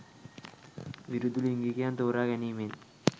විරුද්ධ ලිංගිකයන් තෝරා ගැනීමෙන්